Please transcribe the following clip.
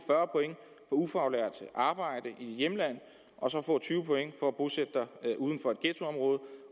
ufaglært arbejde i hjemlandet og tyve point for at bosætte sig uden for et ghettoområde